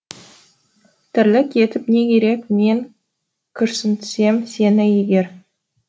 тірлік етіп не керек мен күрсінтсем сені егер